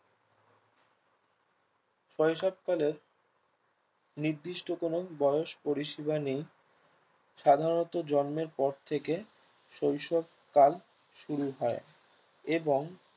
শৈশবকালে নির্দিষ্ট কোনো বয়স পরিসীমা নেই সাধারণত জন্মের পর থেকে শৈশবকাল শুরু হয় এবং